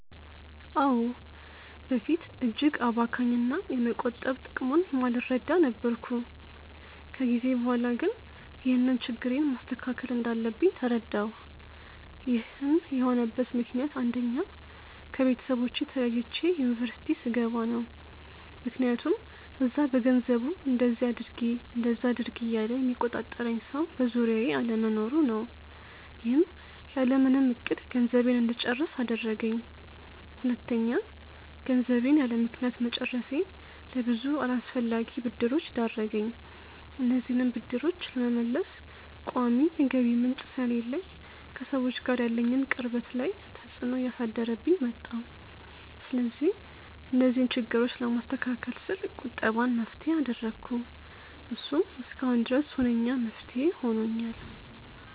አዎ። በፊት እጅግ አባካኝ እና የመቆጠብ ጥቅሙን የማልረዳ ነበርኩ። ከጊዜ በኋላ ግን ይህንን ችግሬን ማስተካከል እንዳለብኝ ተረዳሁ። ይህን የሆነበት ምክንያት አንደኛ: ከቤተሰቦቼ ተለይቼ ዩኒቨርስቲ ስገባ ነው። ምክያቱም እዛ በገንዘቡ እንደዚ አድርጊ እንደዛ አድርጊ እያለ የሚቆጣጠረኝ ሰው በዙሪያዬ አለመኖሩ ነው። ይህም ያለምንም እቅድ ገንዘቤን እንድጨርስ አደረገኝ። ሁለተኛ: ገንዘቤን ያለምክንያት መጨረሴ ለብዙ አላስፈላጊ ብድሮች ዳረገኝ። እነዚህንም ብድሮች ለመመለስ ቋሚ የገቢ ምንጭ ስለሌለኝ ከሰዎች ጋር ያለኝን ቅርበት ላይ ተፅዕኖ እያሳደረብኝ መጣ። ስለዚህ እነዚህን ችግሮች ለማስተካከል ስል ቁጠባን መፍትሄ አደረኩ። እሱም እስካሁን ድረስ ሁነኛ መፍትሄ ሆኖኛል።